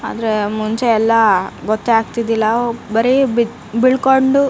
ಅಂದ್ರೆ ಮುಂಚೆ ಎಲ್ಲ ಗೊತ್ತಗ್ತಿದಿದಿಲ್ಲ ಬರೆ ಬಿದ ಬಿಳ್ಕೊಂಡು --